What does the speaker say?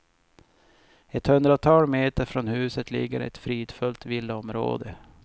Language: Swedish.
Ett hundratal meter från huset ligger ett fridfullt villaområde.